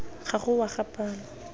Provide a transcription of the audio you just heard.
ga go wa ga palo